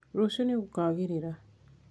rũciũ nīgũkagĩrĩra